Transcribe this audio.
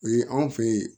O ye anw fe yen